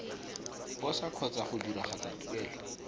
posa kgotsa go diragatsa tuelo